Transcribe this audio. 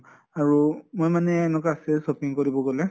আৰু মই মানে এনকে say shopping কৰিব গʼলে